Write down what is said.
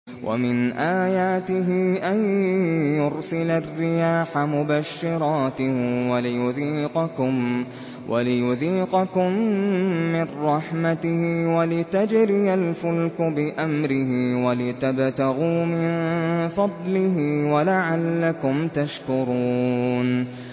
وَمِنْ آيَاتِهِ أَن يُرْسِلَ الرِّيَاحَ مُبَشِّرَاتٍ وَلِيُذِيقَكُم مِّن رَّحْمَتِهِ وَلِتَجْرِيَ الْفُلْكُ بِأَمْرِهِ وَلِتَبْتَغُوا مِن فَضْلِهِ وَلَعَلَّكُمْ تَشْكُرُونَ